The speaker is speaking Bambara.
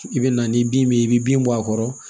I bɛ na ni bin min ye i bɛ bin bɔ a kɔrɔ